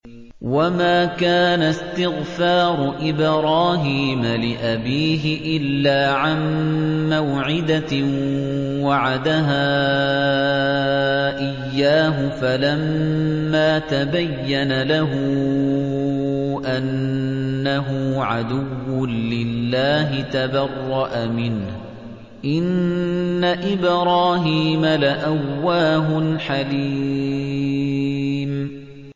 وَمَا كَانَ اسْتِغْفَارُ إِبْرَاهِيمَ لِأَبِيهِ إِلَّا عَن مَّوْعِدَةٍ وَعَدَهَا إِيَّاهُ فَلَمَّا تَبَيَّنَ لَهُ أَنَّهُ عَدُوٌّ لِّلَّهِ تَبَرَّأَ مِنْهُ ۚ إِنَّ إِبْرَاهِيمَ لَأَوَّاهٌ حَلِيمٌ